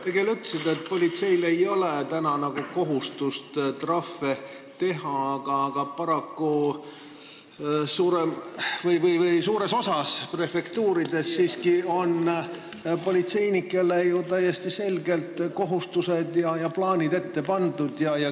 Te küll ütlesite, et politseil ei ole praegu kohustust trahve teha, aga paraku on enamikus prefektuurides politseinikele siiski täiesti selgelt säärased plaanid ette pandud.